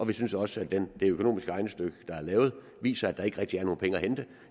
vi synes også at det økonomiske regnestykke der er lavet viser at der ikke rigtig er nogen penge at hente